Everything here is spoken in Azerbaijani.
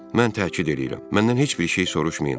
Mən təkid eləyirəm, məndən heç bir şey soruşmayın.